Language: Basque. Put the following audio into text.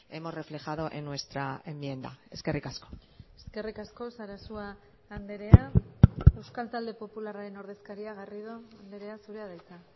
hemos reflejado en nuestra enmienda eskerrik asko eskerrik asko sarasua andrea euskal talde popularraren ordezkaria garrido andrea zurea da hitza